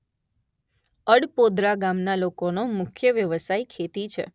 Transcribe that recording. અડપોદરા ગામના લોકોનો મુખ્ય વ્યવસાય ખેતી છે.